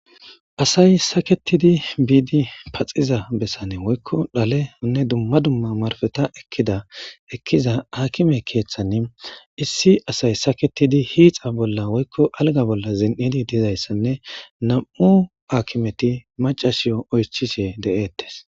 asay saketidi biidi paxiza bessane woykko dhaleonne dumma dumma marfeta ekkida ekkiza akime keeththani issi asay saketidi hiixa bolla woykko alga bolla zen7idi dizayssanne nam7u akimeti macashiyo oychishe de7ettes